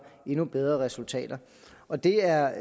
endnu bedre resultater og det er